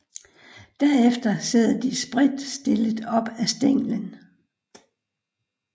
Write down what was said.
Derefter sidder de spredtstillet op ad stænglen